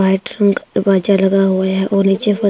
bathroom का दरवाजा लगा हुआ है और नीचे फ--